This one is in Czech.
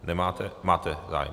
Nemáte - máte zájem.